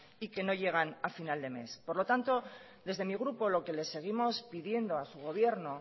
y que no llegan a final de mes por lo tanto desde mi grupo lo que le seguimos pidiendo a su gobierno